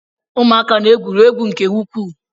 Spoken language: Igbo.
Ụmụaka na-egwuri egwu nke ukwuu